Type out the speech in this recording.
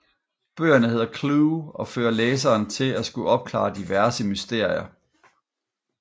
Bøgerne hedder Clue og fører læseren til at skulle opklare diverse mysterier